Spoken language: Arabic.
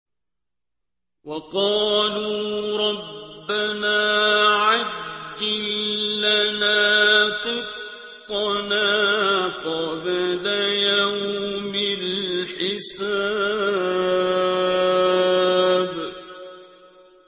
وَقَالُوا رَبَّنَا عَجِّل لَّنَا قِطَّنَا قَبْلَ يَوْمِ الْحِسَابِ